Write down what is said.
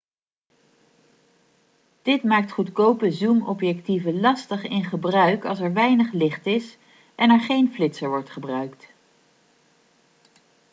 dit maakt goedkope zoomobjectieven lastig in gebruik als er weinig licht is en er geen flitser wordt gebruikt